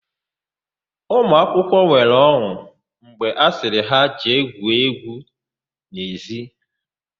Ụmụakwụkwọ nwere ọn̄ụ mgbe a sịrị ha jee gwuo égwú n'ezi.